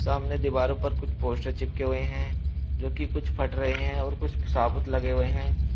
सामने दीवारों पर कुछ पोस्टर चिपके हुए हैं जो कि कुछ फट रहे हैं और कुछ साबूत लगे हुए हैं।